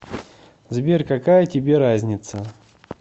сбер какая тебе разница